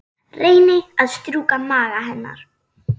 Reyni að strjúka maga hennar.